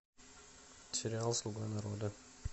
сериал слуга народа